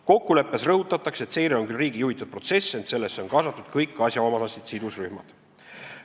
Kokkuleppes rõhutatakse, et seire on küll "riigi juhitud" protsess, ent sellesse on kaasatud "kõik asjaomased sidusrühmad.